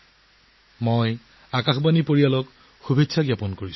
মই আকাশবাণী পৰিয়ালক অভিনন্দন জনাইছো